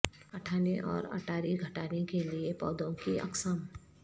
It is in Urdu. اٹھانے اور اٹاری گھٹانے کے لئے پودوں کی اقسام